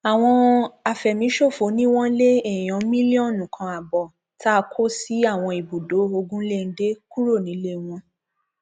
àwọn àfẹmíṣòfò ni wọn lé èèyàn mílíọnù kan ààbọ tá a kó sí àwọn ibùdó ogunléndé kúrò nílé wọn